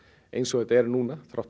eins og þetta er núna þótt